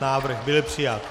Návrh byl přijat.